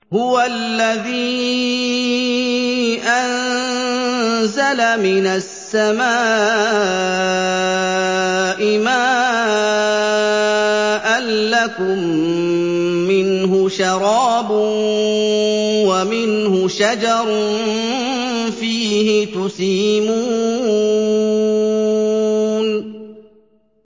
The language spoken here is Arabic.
هُوَ الَّذِي أَنزَلَ مِنَ السَّمَاءِ مَاءً ۖ لَّكُم مِّنْهُ شَرَابٌ وَمِنْهُ شَجَرٌ فِيهِ تُسِيمُونَ